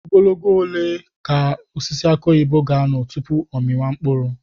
Ogologo oge ole ka osisi aki oyibo ga-anọ tupu ọ amịa mkpụrụ?